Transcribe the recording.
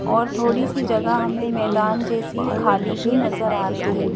और थोड़ी सी जगह हमें मैदान जैसी खाली भी नजर आ रही है।